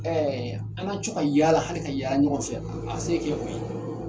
An ka to ka yaala hali ka yaali ɲɔgɔn fɛ a se kɛ o ye